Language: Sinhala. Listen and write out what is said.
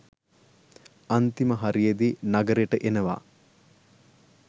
අන්තිම හරියෙදි නගරෙට එනවා